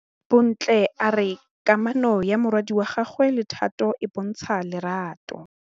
Bontle a re kamanô ya morwadi wa gagwe le Thato e bontsha lerato.